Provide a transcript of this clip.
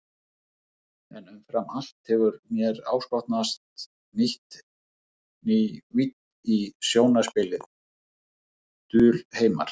En umfram allt hefur mér áskotnast ný vídd í sjónarspilið, dulheimar.